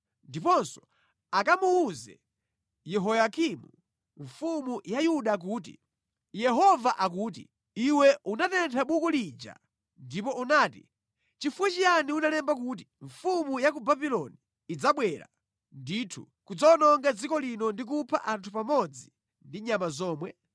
Ndiponso akamuwuze Yehoyakimu mfumu ya Yuda kuti, ‘Yehova akuti: Iwe unatentha buku lija ndipo unati: Nʼchifukwa chiyani unalemba kuti mfumu ya ku Babuloni idzabwera ndithu kudzawononga dziko lino ndi kupha anthu pamodzi ndi nyama zomwe?’